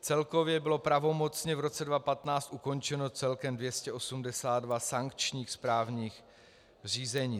Celkově bylo pravomocně v roce 2015 ukončeno celkem 282 sankčních správních řízení.